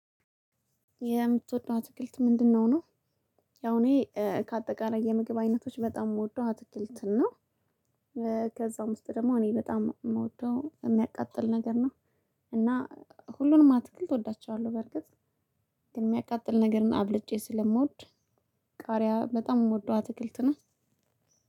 የምትወደው አትክልት ምንድን ነው? ያው እኔ ከአጠቃላይ የምግብ አይነቶች በጣም የምወደው አትክልትን ነው። ከዛ ውስጥ ደግሞ እኔ በጣም የምወደው እሚያቃጥል ነገር ነው። እና ሁሉንም አትክልት እወዳቸዋለሁ። በርግጥ እሚያቃጥል ነገርን አብልጬ ስለምወድ ቃሪያ በጣም የምወደው አትክልት ነው።